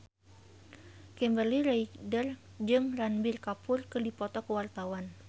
Kimberly Ryder jeung Ranbir Kapoor keur dipoto ku wartawan